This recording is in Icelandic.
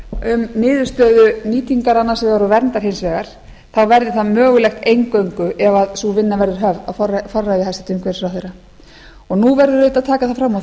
um niðurstöðu nýtingar annars vegar og verndar hins vegar þá verði það mögulegt eingöngu ef sú vinna verður höfð á forræði hæstvirtur umhverfisráðherra nú verður auðvitað að taka það fram og það